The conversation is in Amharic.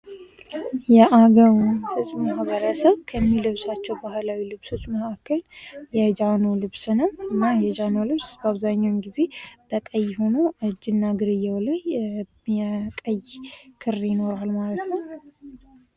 የአገዉ ህዝብ ማህበረሰብ ከሚለብሳቸዉ ባህላዊ ልብሶች መካከል የጃኖ ልብስ ነዉ። እና ይህ የጃኖ ልብስ አብዛኛዉን ጊዜ በቀይ ሆኖ እጅና እግርየዉ ላይ የቀይ ክር ይኖረዋል ማለት ነዉ።